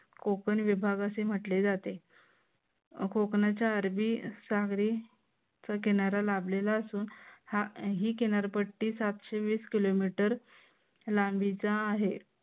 कोकण विभाग असे म्हटले जाते. कोकणाच्या अरबी सागरी किनारा लाभलेला असून ही किनारपट्टीच सातशे वीस किलोमीटर लांबीचा आहे.